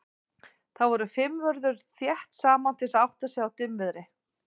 Þar voru fimm vörður þétt saman til að átta sig á í dimmviðri.